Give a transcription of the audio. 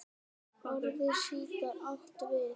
Orðið sítar átt við